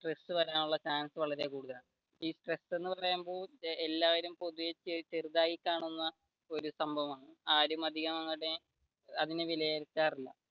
stress വരാനുള്ള chance വളരെ കൂടുതലാണ് ഈ സ്ട്രെസ് എന്ന് പറയുമ്പോൾ എല്ലാരും പൊതുവെ ചെറുതായി കാണുന്ന ഒരു സംഭവമാണ് ആരും അധികം അങ്ങനെ അതിനെ വിലയിരുത്താർ ഇല്ല